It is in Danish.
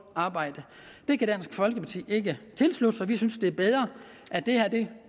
arbejde det kan dansk folkeparti ikke tilslutte sig vi synes det er bedre at det her